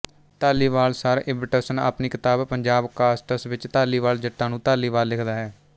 Dhaliwal Sir Ibbetson ਆਪਣੀ ਕਿਤਾਬ Punjab castes ਵਿੱਚ ਧਾਲੀਵਾਲ ਜੱਟਾਂ ਨੂੰ ਧਾਰੀਵਾਲ ਲਿਖਦਾ ਹੈ